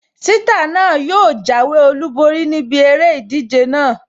Ṣítà náà yóò jáwé olùborí níbi eré ìdíje náà